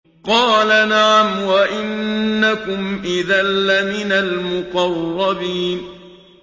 قَالَ نَعَمْ وَإِنَّكُمْ إِذًا لَّمِنَ الْمُقَرَّبِينَ